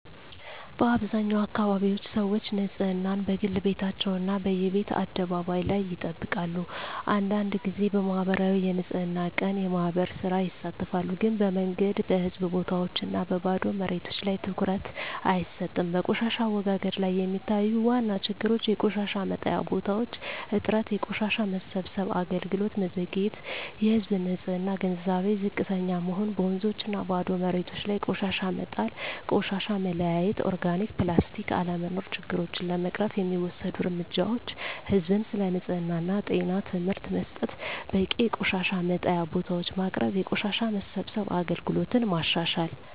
በአብዛኛው አካባቢዎች ሰዎች ንፅህናን፦ በግል ቤታቸው እና በየቤት አደባባይ ላይ ይጠብቃሉ አንዳንድ ጊዜ በማኅበራዊ የንፅህና ቀን (የማህበር ሥራ) ይሳተፋሉ ግን በመንገድ፣ በህዝብ ቦታዎች እና በባዶ መሬቶች ላይ ትኩረት አይሰጥም በቆሻሻ አወጋገድ ላይ የሚታዩ ዋና ችግሮች የቆሻሻ መጣያ ቦታዎች እጥረት የቆሻሻ መሰብሰብ አገልግሎት መዘግየት የህዝብ ንፅህና ግንዛቤ ዝቅተኛ መሆን በወንዞችና ባዶ መሬቶች ላይ ቆሻሻ መጣል ቆሻሻ መለያየት (ኦርጋኒክ/ፕላስቲክ) አለመኖር ችግሮቹን ለመቅረፍ የሚወሰዱ እርምጃዎች ህዝብን ስለ ንፅህና እና ጤና ትምህርት መስጠት በቂ የቆሻሻ መጣያ ቦታዎች ማቅረብ የቆሻሻ መሰብሰብ አገልግሎትን ማሻሻል